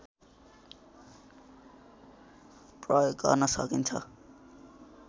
प्रयोग गर्न सकिन्छ